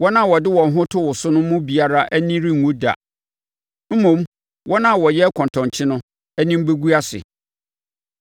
Wɔn a wɔde wɔn ho to wo so no mu biara ani renwu da, mmom, wɔn a wɔyɛ kɔntɔnkye no anim bɛgu ase.